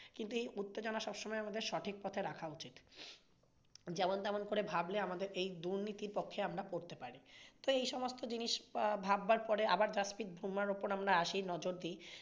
কিন্তু এই উত্তেজনা আমাদের সবসময়ে সঠিক পথে রাখা উচিত। যেমন তেমন করে ভাবলে আমাদের এই দুর্নীতির পথে আমরা পড়তে পারি। তো এইসমস্ত জিনিস ভাববার পরে আবার জাসপ্রিত বুমরাহর ওপর আমরা আসি নজর দিই।